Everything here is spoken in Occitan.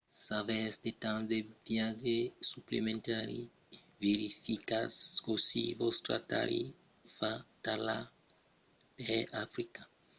s'avètz de temps de viatge suplementari verificatz cossí vòstra tarifa totala per africa se compara a una tarifa a l'entorn del mond